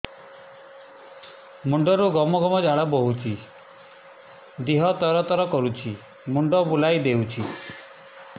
ମୁଣ୍ଡରୁ ଗମ ଗମ ଝାଳ ବହୁଛି ଦିହ ତର ତର କରୁଛି ମୁଣ୍ଡ ବୁଲାଇ ଦେଉଛି